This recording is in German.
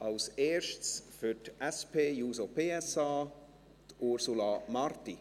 Als Erstes für die SP-JUSO-PSA, Ursula Marti.